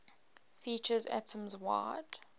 features atoms wide